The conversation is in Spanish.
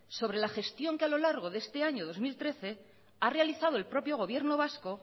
sobre la gestión que a lo largo de este año dos mil trece que ha realizado el propio gobierno vasco